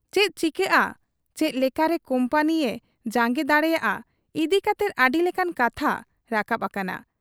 ᱪᱮᱫ ᱪᱤᱠᱟᱹᱜ ᱟ, ᱪᱮᱫ ᱞᱮᱠᱟᱨᱮ ᱠᱩᱢᱯᱟᱹᱱᱤᱭᱮ ᱡᱟᱝᱜᱮ ᱫᱟᱲᱮᱭᱟᱜ ᱟ ᱤᱫᱤ ᱠᱟᱛᱮ ᱟᱹᱰᱤ ᱞᱮᱠᱟᱱ ᱠᱟᱛᱷᱟ ᱨᱟᱠᱟᱵ ᱟᱠᱟᱱᱟ ᱾